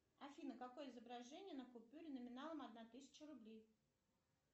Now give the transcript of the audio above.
афина какое изображение на купюре номиналом одна тысяча рублей